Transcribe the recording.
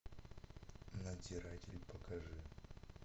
надзиратель покажи